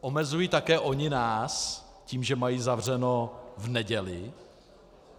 Omezují také oni nás tím, že mají zavřeno v neděli?